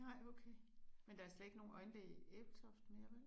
Nej okay. Men der er slet ikke nogen øjenlæge i Ebeltoft mere vel?